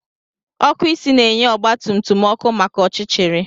Ọkụ isi na-enye ọgba tum tum ọkụ maka ọchịchịrị